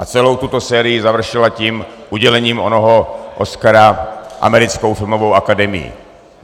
A celou tuto sérii završila tím udělením onoho Oscara Americkou filmovou akademií.